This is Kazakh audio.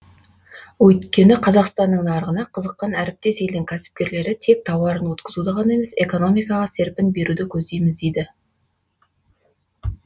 өйткені қазақстанның нарығына қызыққан әріптес елдің кәсіпкерлері тек тауарын өткізуді ғана емес экономикаға серпін беруді көздейміз дейді